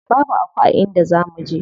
Babu Aku a inda za muje.